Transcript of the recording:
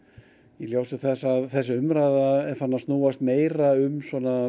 í ljósi þess að þessi umræða er farin að snúast meira um